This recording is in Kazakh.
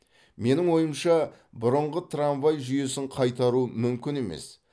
менің ойымша бұрынғы трамвай жүйесін қайтару мүмкін емес